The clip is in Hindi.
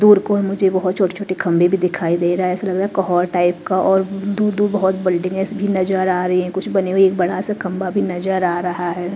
दूर को मुझे बहुत छोटे-छोटे खंबे भी दिखाई दे रहा है ऐसा लग रहा है कहर टाइप का और दू-दू बहुत बल्डिंग्स भी नजर आ रही है कुछ बने हुए एक बड़ा सा खंभा भी नजर आ रहा है।